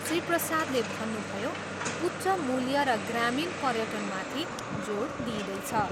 श्री प्रसादले भन्नुभयो, उच्च मूल्य र ग्रामीण पर्यटनमाथि जोड दिइँदैछ।